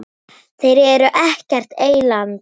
Þeir eru ekkert eyland.